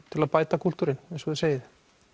til að bæta kúltúrinn eins og þið segið